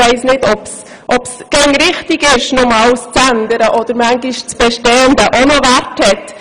Ich weiss nicht, ob es immer richtig ist, alles zu ändern, oder ob nicht auch das Bestehende Wert hat.